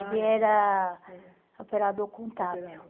Ele era operador contábil.